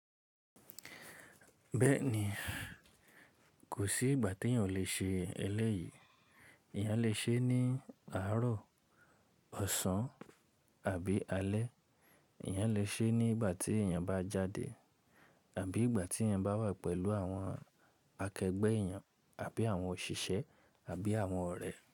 Bẹ́ẹ̀ni, kò sí ìgbà tí èyàn ò le ṣe ẹlẹ́yìí. Èyàn lè ṣe é ní àárọ̀, ọ̀sán àbí alẹ́. Ìyàn lè ṣe é ní ìgbà tí èyàn bá jáde àbí ìgbà tí èyàn bá wà pẹ̀lú àwọn akẹgbẹ́ èyàn àbí àwọn òṣìṣẹ́ àbí àwọn ọ̀rẹ́.